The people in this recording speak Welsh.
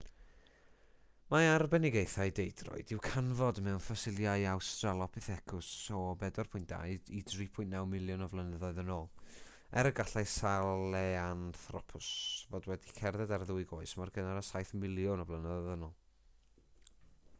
mae arbenigaethau deudroed i'w canfod mewn ffosilau australopithecus o 4.2-3.9 miliwn o flynyddoedd yn ôl er y gallai sahelanthropus fod wedi cerdded ar ddwy goes mor gynnar â saith miliwn o flynyddoedd yn ôl